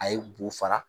A ye bo fara